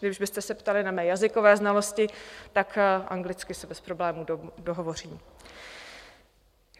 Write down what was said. Kdybyste se ptali na mé jazykové znalosti, tak anglicky se bez problémů dohovořím.